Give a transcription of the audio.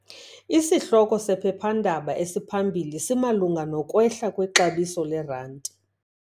Isihloko sephephandaba esiphambili simalunga nokwehla kwexabiso lerandi.